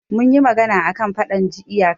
Mun yi magana a kan faɗan iyaka jiya